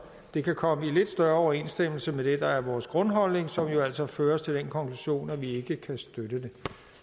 det kan komme i lidt større overensstemmelse med det der er vores grundholdning som jo altså fører os til den konklusion at vi ikke kan støtte